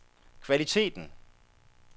kvaliteten